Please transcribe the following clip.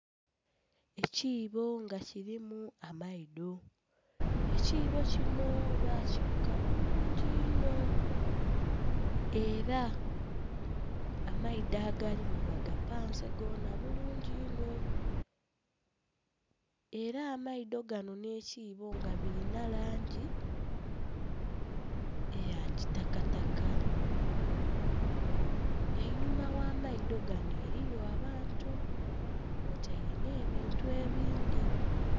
Ekiboo nga kirimu amaidho, ekiboo kinho bakiruka bulungi inho era amaidho agalimu bagapanze goona bulungi inho era amaidho ganho nhe kiboo nga birina langi eya kitaka taka, einhuma gha maidho ganho eriyo abantu kwotaire nhe bintu ebindhi.